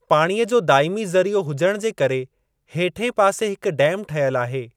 पाणीअ जो दाइमी ज़रीओ हुजण जे करे हेठें पासे हिकु डैम ठहियलु आहे।